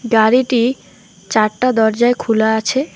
গাড়িটি চারটা দরজাই খুলা আছে।